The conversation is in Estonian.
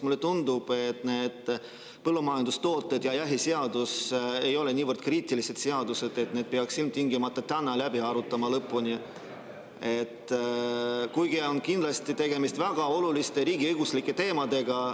Mulle tundub, et need põllumajandustooted ja jahiseadus ei ole niivõrd kriitilised, et ilmtingimata peaks need täna lõpuni läbi arutama, kuigi kindlasti on tegemist väga oluliste riigiõiguslike teemadega.